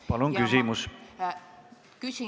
Palun küsimust!